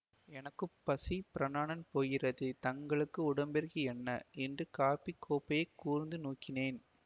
எனக்கு பசி பிராணன் போகிறதே தங்களுக்கு உடம்பிற்கு என்ன என்று காப்பி கோப்பையைக் கூர்ந்து நோக்கினேன்